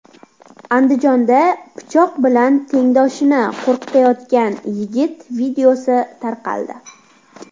Andijonda pichoq bilan tengdoshini qo‘rqitayotgan yigit videosi tarqaldi.